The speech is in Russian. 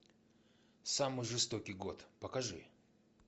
самый жестокий год покажи